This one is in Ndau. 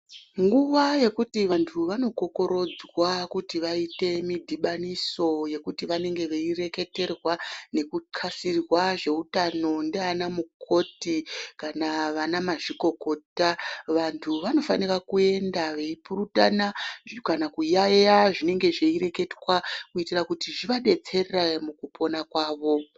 Nguwa yekuti vantu vanokokorodzwa kuti vaite midhibaniso yekuti vanenge veireketerwa nekuxasirwa zveutano ndiana mukoti kana vanamazvikokota, vantu vanofanira kuenda veipurutana kana kuyaiya zvinenge zveireketwa kuitira kuti zvivadetsere mukupona kwavo.